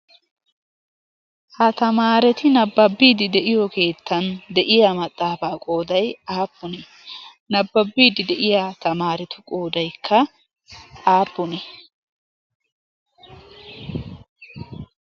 ha tamaareti nabbabbiidi de'iyo keettan de'iya maxaafaa gooday aappunee nabbabbiidi de'iya tamaaretu goodaikka aappunee?